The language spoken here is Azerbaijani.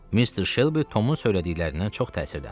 Mister Şelbi Tomun söylədiklərindən çox təsirləndi.